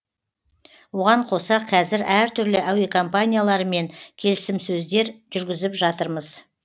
оған қоса кәзір әртүрлі әуекомпанияларымен келісімсөздер жүргізіп жатырмыз